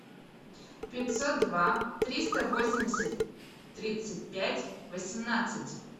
пятьсот два триста восемьдесят тридцать пять восемнадцать